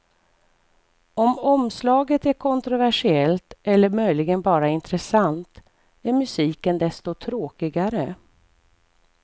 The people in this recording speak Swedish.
Om omslaget är kontroversiellt eller möjligen bara intressant är musiken desto tråkigare.